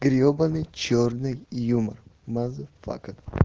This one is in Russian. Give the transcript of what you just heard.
гребаный чёрный юмор мазафака